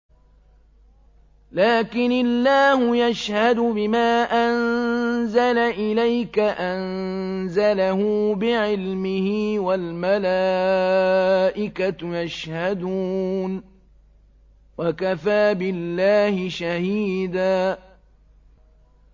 لَّٰكِنِ اللَّهُ يَشْهَدُ بِمَا أَنزَلَ إِلَيْكَ ۖ أَنزَلَهُ بِعِلْمِهِ ۖ وَالْمَلَائِكَةُ يَشْهَدُونَ ۚ وَكَفَىٰ بِاللَّهِ شَهِيدًا